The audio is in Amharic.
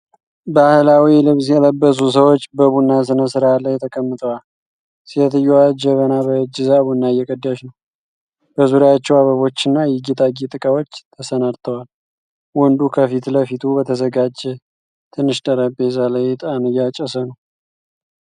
ባሕላዊ ልብስ የለበሱ ሰዎች በቡና ሥነ-ሥርዓት ላይ ተቀምጠዋል። ሴትዮዋ ጀበና በእጅ ይዛ ቡና እየቀዳች ነው። በዙሪያቸው አበቦችና የጌጣጌጥ ዕቃዎች ተሰናድተዋል። ወንዱ ከፊት ለፊቱ በተዘጋጀ ትንሽ ጠረጴዛ ላይ ዕጣን እያጨሰ ነው።